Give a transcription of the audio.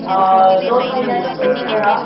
अ दोन महिन्यांचा कोर्स हा